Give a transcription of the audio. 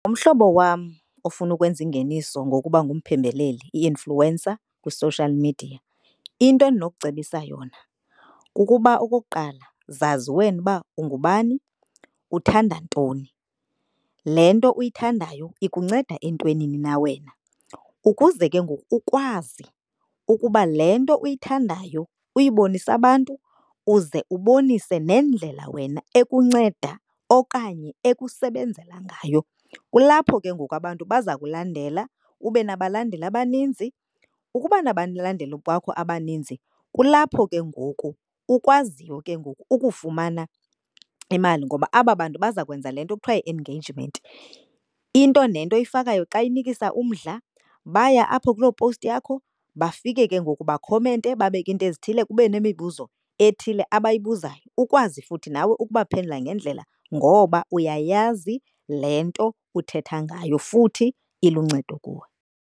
Umhlobo wam ofuna ukwenza ingeniso ngokuba ngumphembeleli i-influencer kwi-social media, into endinokucebisa yona kukuba okokuqala zazi wena uba ungubani, uthanda ntoni. Le nto uyithandayo ikunceda entwenini na wena, ukuze ke ngoku ukwazi ukuba le nto uyithandayo uyibonise abantu, uze ubonise nendlela wena ekunceda okanye ekusebenzela ngayo. Kulapho ke ngoku abantu baza kulandela ube nabalandeli abaninzi. Ukuba nabalandeli kwakho abaninzi, kulapho ke ngoku ukwaziyo ke ngoku ukufumana imali ngoba aba bantu baza kwenza le nto kuthiwa yi-engagement. Into nento oyifakayo xa inikisa umdla baya apho kuloo powusti yakho bafike ke ngoku bakhomente, babeke iinto ezithile kube nemibuzo ethile abayibuzayo. Ukwazi futhi nawe ukubaphendula ngendlela ngoba uyayazi le nto uthetha ngayo futhi iluncedo kuwe.